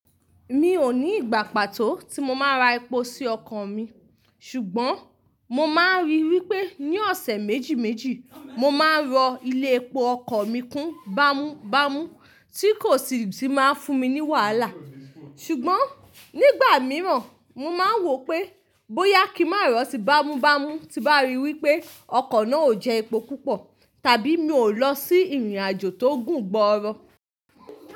Mi ò ní ìgbà pàtó tí mo máa ra epo sí ọkọ̀ mi, ṣùgbọ́n mo máa ń ríi wí pé ní ọ̀sẹ̀ méjì méjì, mo máa ń rọ ilé epo ọkọ̀ mi kún bámúbámú tí kò sì tíì máa fún mi ní wàhálà. Ṣùgbọ́n nígbà mìíràn, mo máa ń wò pé bóyá kí màárọ̀ si bámúbámú ti bá rí i wí pé ọkọ̀ náà ò jẹ epo púpọ̀ tàbí mi ò lọ sí ìrìnàjò tó gùn gbọrọ.